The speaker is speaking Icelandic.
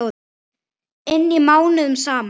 inni mánuðum saman.